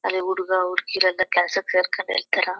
ಅಲ್ಲಿ ಹುಡುಗ ಹುಡುಗೀರು ಎಲ್ಲ ಕೆಲ್ಸಕ್ ಸೇರ್ಕೊಂಡಿರ್ತರ .